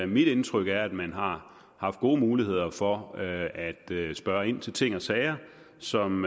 mit indtryk er at man har haft gode muligheder for at at spørge ind til ting og sager som